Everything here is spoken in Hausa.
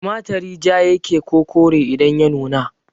Tumarturi ja yake ko kore idan ya nuna?